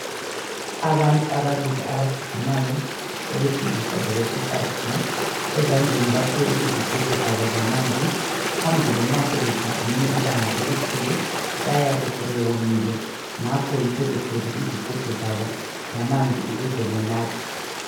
Abantu ababili abajigimayo awesilisa lowesifazana ezandleni bathwele izigubhu zabo zamanzi. Phambili nxa sebejigime ibanga elikhulu bayabe sebewomile. Ngakho yikho bethwele izigubhu zabo zamanzi ukuze banathe.